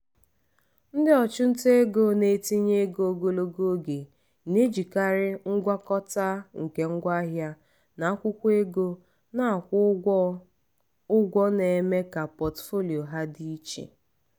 ndị ọchụnta ego na-etinye ego ogologo oge na-ejikarị ngwakọta nke ngwaahịa na akwụkwọ ego na-akwụ ụgwọ ụgwọ na-eme ka pọtụfoliyo ha dị iche iche.